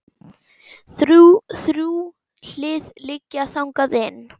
Þrjú hlið liggja þangað inn.